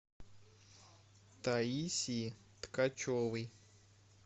таисии ткачевой